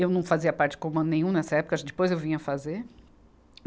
Eu não fazia parte de comando nenhum nessa época, depois eu vim a fazer.